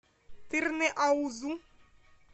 тырныаузу